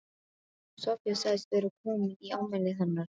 Soffía sagðist vera komin í afmælið hennar